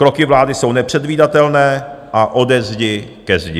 Kroky vlády jsou nepředvídatelné a ode zdi ke zdi.